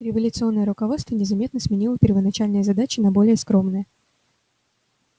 революционное руководство незаметно сменило первоначальные задачи на более скромные